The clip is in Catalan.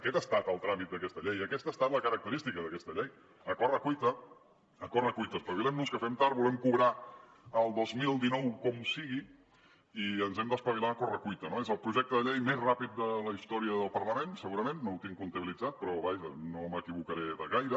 aquest ha estat el tràmit d’aquesta llei i aquesta ha estat la característica d’aquesta llei a correcuita a correcuita espavilem nos que fem tard volem cobrar el dos mil dinou com sigui i ens hem d’espavilar a correcuita no és el projecte de llei més ràpid de la història del parlament segurament no ho tinc comptabilitzat però vaja no m’equivocaré de gaire